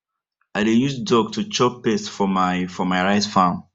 i dey use duck to chop pest for my for my rice farm